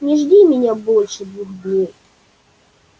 не жди меня больше двух дней